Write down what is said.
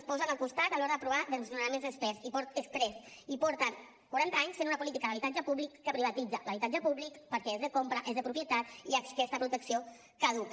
es posen al costat a l’hora d’aprovar desnonaments exprés i porten quaranta anys fent una política d’habitatge públic que privatitza l’habitatge públic perquè és de compra és de propietat i aquesta protecció caduca